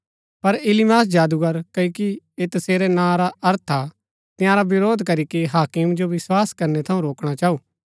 पर इलीमास जादूगर क्ओकि ऐह तसेरै नां रा अर्थ हा तंयारा वरोध करीके हाकिम जो विस्वास करनै थऊँ रोकणा चाऊ